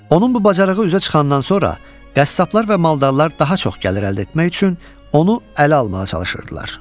Onun bu bacarığı üzə çıxandan sonra qəssablar və maldarlar daha çox gəlir əldə etmək üçün onu ələ almağa çalışırdılar.